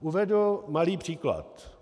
Uvedu malý příklad.